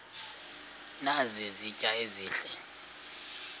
nazi izitya ezihle